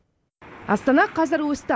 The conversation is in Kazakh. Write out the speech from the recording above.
астана қазір өсті